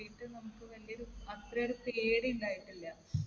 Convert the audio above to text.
കൂടിയിട്ടും നമുക്ക് വലിയ ഒരു അത്രയും ഒരു പേടി ഉണ്ടായിട്ടില്ല.